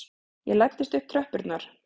Ég læddist upp tröppurnar.